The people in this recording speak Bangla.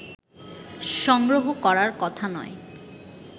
সংগ্রহ করার কথা নয়